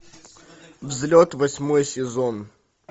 взлет восьмой сезон